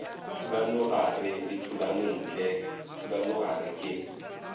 thulanogare le thulanontle thulanogare ke